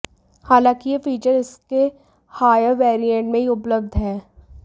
हालाँकि यह फीचर इसके हायर वैरिएंट में ही उपलब्ध है